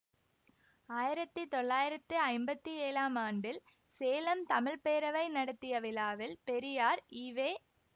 ஆயிரத்தி தொள்ளாயிரத்தி ஐம்பத்தி ஏழாம் ஆண்டில் சேலம் தமிழ் பேரவை நடத்திய விழாவில் பெரியார் ஈ வே